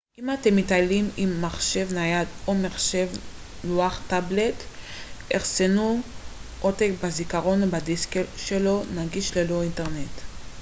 אם אתם מטיילים עם מחשב נייד או מחשב לוח טאבלט אחסנו עותק בזיכרון או בדיסק שלו נגיש ללא אינטרנט